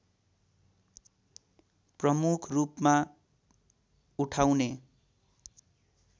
प्रमुखरूपमा उठाउने